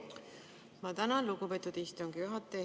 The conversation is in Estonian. Ma tänan, lugupeetud istungi juhataja!